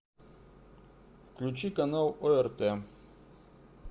включи канал орт